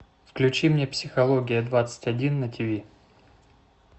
включи мне психология двадцать один на тв